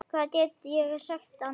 Hvað get ég sagt annað?